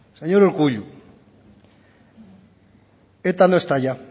señor urkullu eta no está ya